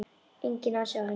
Enginn asi á henni.